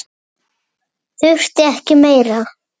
Þurfti ekki meira.